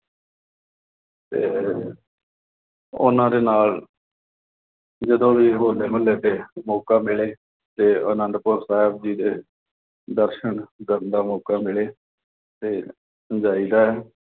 ਤੇ ਉਨ੍ਹਾਂ ਦੇ ਨਾਲ ਜਦੋਂ ਵੀ ਹੋਲੇ-ਮੁਹੱਲੇ ਤੇ ਮੌਕਾ ਮਿਲੇ ਤੇ ਅਨੰਦਪੁਰ ਸਾਹਿਬ ਜੀ ਦੇ ਦਰਸ਼ਨ ਕਰਨ ਦਾ ਮੌਕਾ ਮਿਲੇ ਤੇ ਜਾਈਦਾ ਐ।